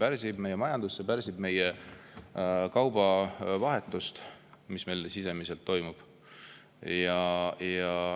See pärsib meie majandust, see pärsib ka kaubavahetust, mis meil sisemiselt toimub.